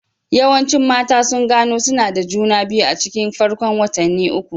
Yawancin mata sun gano suna da juna biyu a cikin farkon watanni uku.